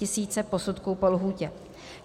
Tisíce posudků po lhůtě.